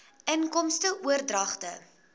inkomste oordragte